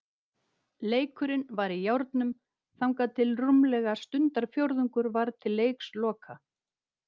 Leikurinn var í járnum þangað til rúmlega stundarfjórðungur var til leiksloka.